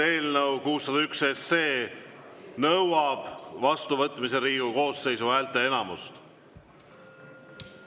Eelnõu 601 nõuab vastuvõtmiseks Riigikogu koosseisu häälteenamust.